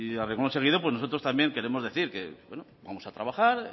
a renglón seguido pues nosotros también queremos decir que vamos a trabajar